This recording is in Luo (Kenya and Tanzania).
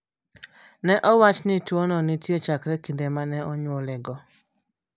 Ne owach ni tuwono nitie chakre kinde ma ne onyuolego.